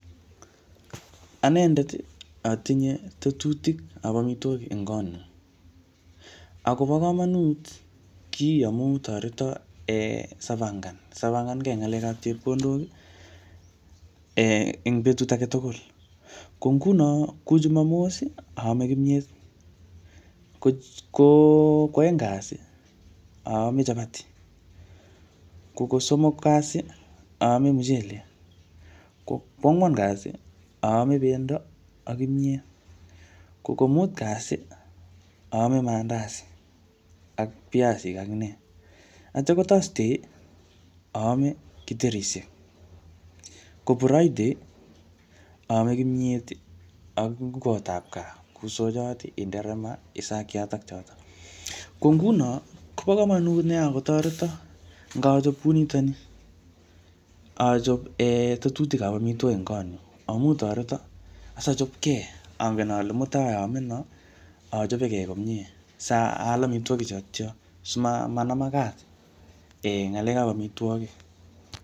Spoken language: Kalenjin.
Anendet, atinye tetutik ap amitwogik eng kot nyu. Akobo komonut kiiy amu toreto um sapangan, sapangkey eng ngalek ap chepkondok um ing betut age tugul. Ko nguno, kou Jumamos, aame kimyet. Ko koo aeng kasi, aame chapati. Ko kosomok kasi, aame mchelek. Ko kwangwan kasi, aame pendo ak kimyet. Ko ko mut kasi, aame mandasi ak piasik ak nee. Atya ko thursday, aame kiterishek. Ko friday, aame kimyet ak ngwot ap gaa, kou sochot, inderema, isakiat ak chotok. Ko nguno kobo komonut nea akotoreto ngachop kunitoni. Achop um tetutik ap amitwogik eng kot nyuu, amu toreto sachopkey, angen ale mutai aame noo, achopekey komyee, saal amitwogik chotocho. Simanama kat, ngalek ap amitwogik